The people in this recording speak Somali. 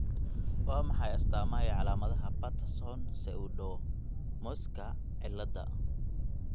Waa maxay astamaha iyo calaamadaha Patterson pseudoleprechaunismka cillada